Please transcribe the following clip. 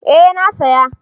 Eh na saya